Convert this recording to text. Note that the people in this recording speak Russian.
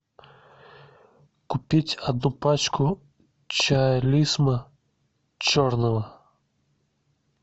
купить одну пачку чая лисма черного